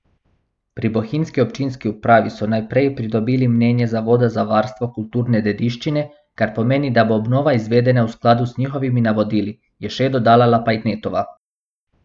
Pri bohinjski občinski upravi so najprej pridobili mnenje Zavoda za varstvo kulturne dediščine, kar pomeni, da bo obnova izvedena v skladu z njihovimi navodili, je še dodala Lapajnetova.